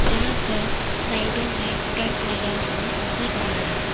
जहां पर साइडों में टेंट लगा हुआ नजर आ रहा--